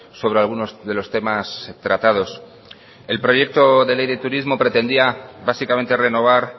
sobre algunos de los temas tratados el proyecto de ley de turismo pretendía básicamente renovar